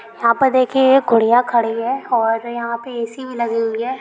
यहाँ पर देखिऐ कुडिया खड़ी हुई है और यहाँ ऐ.सी. भी लगी हुई है।